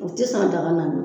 U tɛ san daga